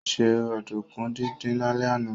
Ó se ọ̀dùnkún díndín lálẹ́ àná